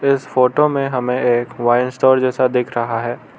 इस फोटो में हमें एक वाइन स्टोर जैसा दिख रहा है।